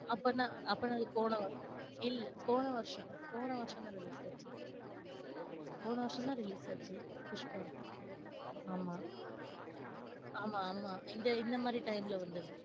அப்பனா, அப்பனா அது போனவருஷ, இல்ல போன வருஷம் போன வருஷம் தான் release ஆச்சு. போன வருஷம் தான் release ஆச்சு புஷ்பா ஆமா ஆமா, ஆமா இந்த இந்தமாதிரி time ல வந்தது.